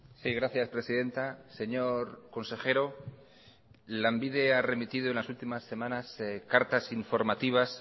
sí gracias presidenta señor consejero lanbide ha remitido en las últimas semanas cartas informativas